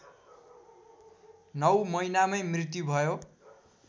नौ महिनामै मृत्यु भयो